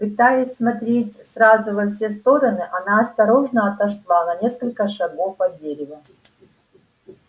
пытаясь смотреть сразу во все стороны она осторожно отошла на несколько шагов от дерева